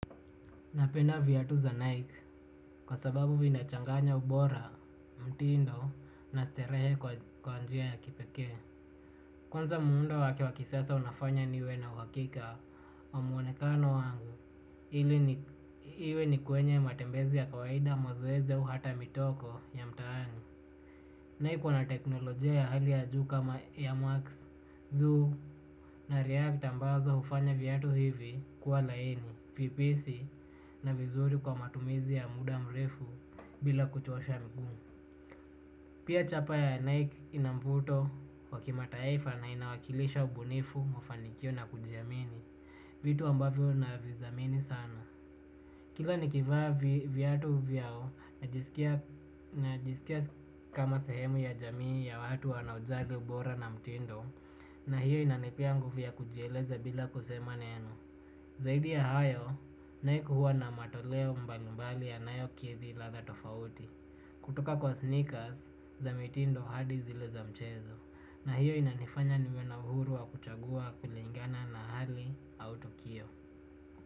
Napenda viatu za Nike kwa sababu vinachanganya ubora mtindo na starehe kwa njia ya kipekee. Kwanza muundo wake wa kisasa unafanya niwe na uhakika wa mwonekano wangu ili iwe ni kwenye matembezi ya kawaida mazoezi au hata mitoko ya mtaani. Nike wana teknolojia ya hali ya juu kama ya airmax, zoo na react ambazo hufanya viatu hivi kuwa laini, vipesi na vizuri kwa matumizi ya muda mrefu bila kuchosha mguu. Pia chapa ya Nike ina mvuto wa kimataifa na inawakilisha ubunifu mafanikio na kujiamini, vitu ambavyo navidhamini sana. Kila nikivaa viatu vyao najisikia kama sahemu ya jamii ya watu wana ujagi ubora na mtindo na hiyo inanipia nguvya kujieleza bila kusema neno. Zaidi ya hayo, naik huwa na matoleo mbali mbali yanayo kidhi ladha tofauti. Kutoka kwa sneakers za mitindo hadi zile za mchezo na hiyo inanifanya niwe na uhuru wa kuchagua kulingana na hali au tukio.